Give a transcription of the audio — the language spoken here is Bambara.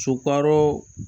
Sukaro